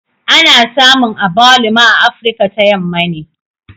Ana samun Agbaluma a Afirka ta Yamma ne